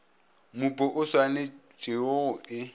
mmupo o swanetpego go e